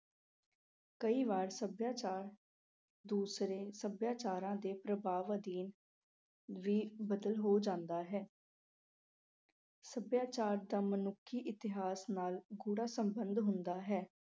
ਕਈ ਵਾਰ ਸੱਭਿਆਚਾਰ ਦੂਸਰੇ ਸੱਭਿਆਚਾਰਾਂ ਦੇ ਪ੍ਰਭਾਵ ਅਧੀਨ ਵੀ ਬਦਲ ਹੋ ਜਾਂਦਾ ਹੈ। ਸੱਭਿਆਚਾਰ ਦਾ ਮਨੁੱਖੀ ਇਤਿਹਾਸ ਨਾਲ ਗੂੜ੍ਹਾ ਸਬੰਧ ਹੁੰਦਾ ਹੈ।